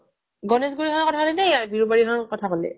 গণেশগুৰি খনৰ কথা কলি নে কৰ বিৰুবাৰী খনৰ কথা কলি